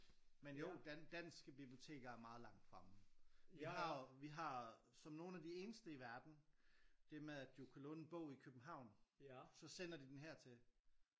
Men jo danske biblioteker er meget langt fremme vi har jo vi har som nogle af de eneste i verden det med at du kan låne en bog i København så sender de den hertil